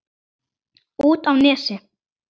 Út á Nesi?